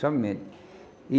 Somente. E